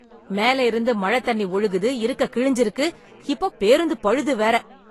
மேல இருந்து மழத் தண்ணி ஒழுகுது, இருக்க கிழிஞ்சு இருக்கு, இப்பப் பேருந்து பழுது வேற.